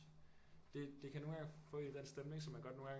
Det kan nogle gange få en ind i den stemning som man godt nogle gange